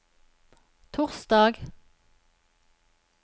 torsdag